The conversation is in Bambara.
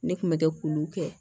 Ne kun bɛ kɛ k'olu kɛ